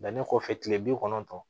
Danni kɔfɛ kile bi kɔnɔntɔn